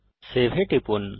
save এ টিপুন